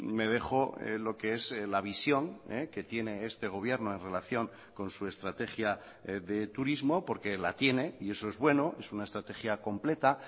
me dejo lo qué es la visión que tiene este gobierno en relación con su estrategia de turismo porque la tiene y eso es bueno es una estrategia completa